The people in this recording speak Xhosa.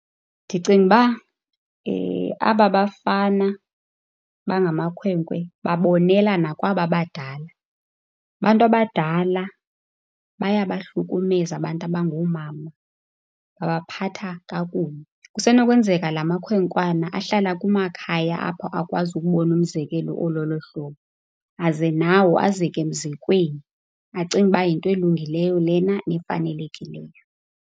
Ndicinga uba aba bafana bangamakhwenkwe babonelana kwaba badala. Abantu abadala bayabahlukumeza abantu abangoomama, babaphatha kakubi. Kusenokwenzeka laa makhwenkwana ahlala kumakhaya apho abakwazi ukubona umzekelo ololo hlobo aze nawo azeke emzekweni, acinge uba yinto elungileyo lena nefanelekileyo.